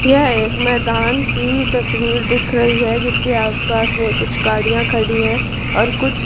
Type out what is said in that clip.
यह एक मैदान की तस्वीर दिख रही है जिसके आस पास में कुछ गाड़ियां खड़ी हैं और कुछ --